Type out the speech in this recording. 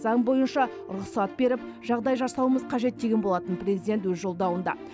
заң бойынша рұқсат беріп жағдай жасауымыз қажет деген болатын президент өз жолдауында